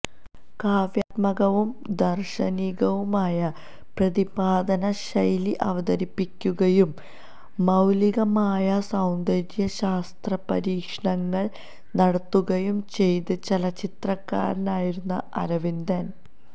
കാവ്യാത്മകവും ദാർശനികവുമായ പ്രതിപാദനശൈലി അവതരിപ്പിക്കുകയും മൌലികമായ സൌന്ദര്യശാസ്ത്രപരീക്ഷണങ്ങൾ നടത്തുകയും ചെയ്ത ചലച്ചിത്രകാരനായിരുന്നു അരവിന്ദൻ